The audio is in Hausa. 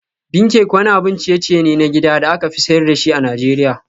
Bean cake wani abun ciye-ciye ne na gida da aka fi sayar da shi a Najeriya.